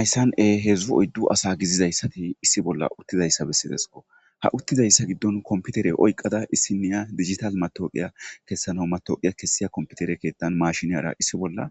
Ayssan e hedzdzu oyddu asa gizizayssati issi bolla uttizayssa bessidesko ha uttizayssa giddon kompitere oyqqada issi niya digital matooqiya kessano matoqiya kessiya kompitere keettan mashiniyara issi bolla